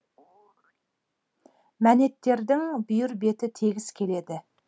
мәнеттердің бүйір беті тегіс келеді